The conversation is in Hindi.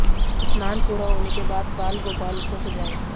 स्नान पूरा होने के बाद बाल गोपाल को सजाएं